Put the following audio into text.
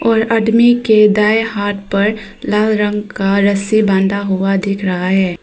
और आदमी के दाएं हाथ पर लाल रंग का रस्सी बांधा हुआ दिख रहा है।